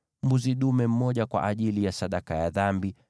mbuzi dume mmoja kwa ajili ya sadaka ya dhambi;